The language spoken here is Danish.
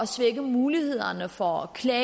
svække mulighederne for at klage